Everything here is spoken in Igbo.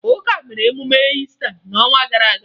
Ụka mere emume Iista n'ọnwa gara aga